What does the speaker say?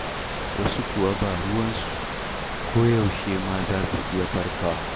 Wasu kuwa ba ruwansu, koyaushe ma za su iya farkawa.